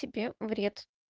тебе вред